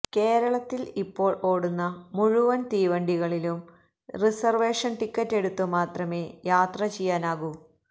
കേരളത്തില് ഇപ്പോള് ഓടുന്ന മുഴുവന് തീവണ്ടി കളിലും റിസര്വേഷന് ടിക്കറ്റ് എടുത്ത് മാത്രമേ യാത്ര ചെയ്യാനാകൂ